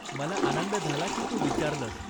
मला आनंद झाला की तू विचारलंस.